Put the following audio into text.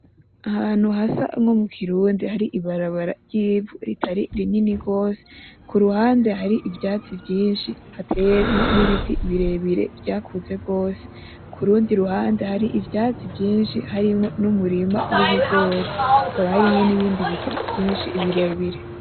Ahantu hasa nko mu kirundi, hari ibarabara ry’ivu ritari rinini gose, kuruhande hari ivyatsi vyinshi hatemwo n’ibiti birebire vyakuze gose. Kurundi ruhande hari ivyatsi vyinshi harimwo n’umurima w’ibigori, hakaba hariwmo n’ibindi biti vyinshi birebire.